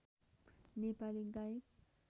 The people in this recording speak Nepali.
नेपाली गायक